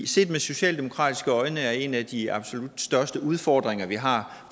set med socialdemokratiske øjne er en af de absolut største udfordringer vi har